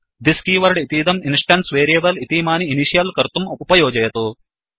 this keyword इतीदं instance variable इतीमानि initial कर्तुं उपयोजयतु